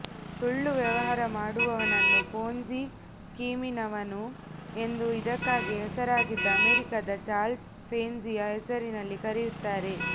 ಸುಳ್ಳು ವ್ಯವಹಾರ ಮಾಡುವನನ್ನು ಪೊನ್ಜಿ ಸ್ಕೀಮಿನವನು ಎಂದು ಇದಕ್ಕಾಗಿ ಹೆಸರಾಗಿದ್ದ ಅಮೆರಿಕದ ಚಾರ್ಲ್ಸ್ ಪೆನ್ಜಿಯ ಹೆಸರಿನಲ್ಲಿ ಕರೆಯುತ್ತಾರೆ